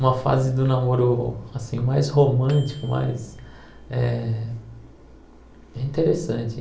Uma fase do namoro, assim, mais romântico, mais... É interessante.